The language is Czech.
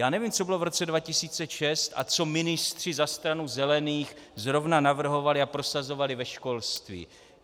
Já nevím, co bylo v roce 2006 a co ministři za Stranu zelených zrovna navrhovali a prosazovali ve školství.